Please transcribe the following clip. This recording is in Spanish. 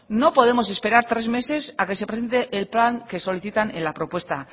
no podemos esperar tres meses a que se presente el plan que solicitan en la propuesta